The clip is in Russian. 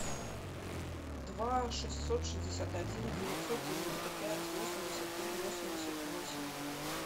два шестьсот шестьдесят один девятьсот девяносто пять восемьдесят три восемьдесят восемь